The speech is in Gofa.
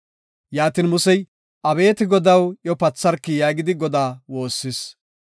Yaatin, Musey, “Abeeti Godaw, iyo patharki” yaagidi Godaa woossis.